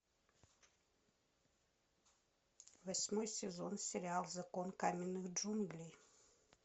восьмой сезон сериал закон каменных джунглей